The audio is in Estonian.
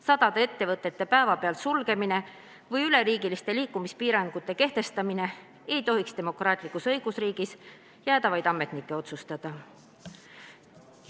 Sadade ettevõtete päevapealt sulgemine või üleriigiliste liikumispiirangute kehtestamine ei tohiks demokraatlikus õigusriigis jääda vaid ametnike otsustada.